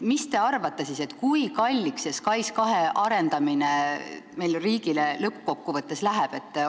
Mis te arvate, kui kalliks see SKAIS2 arendamine meil riigile lõppkokkuvõttes läheb?